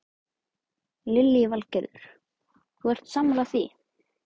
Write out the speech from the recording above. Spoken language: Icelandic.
Lillý Valgerður: Þú ert sammála því?